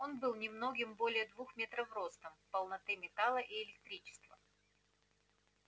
он был немногим более двух метров ростом полтонны металла и электричества